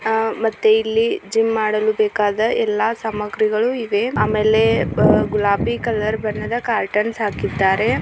ಮತ್ತೆ ಇಲ್ಲಿ ಜಿಮ್ ಮಾಡಲು ಬೇಕಾದ ಯಲ್ಲ ಸಾಮಗ್ರಿಗಳು ಇವ್ ಕಲರ್ ಕರ್ಟನ್ನ್ ಹಾಕಿದರೆ.